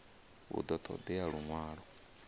hu ḓo ṱo ḓea luṅwalo